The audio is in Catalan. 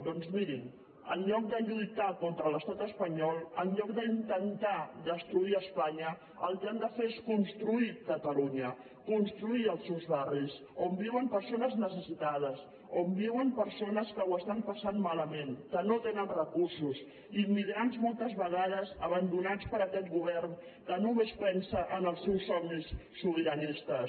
doncs mirin en lloc de lluitar contra l’estat espanyol en lloc d’intentar destruir espanya el que han de fer és construir catalunya construir els seus barris on viuen persones necessitades on viuen persones que ho passen malament que no tenen recursos immigrants moltes vegades abandonats per aquest govern que només pensa en els seus somnis sobiranistes